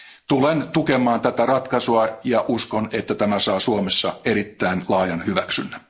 Tulen tukemaan tätä ratkaisua ja uskon, että tämä saa Suomessa erittäin laajan hyväksynnän.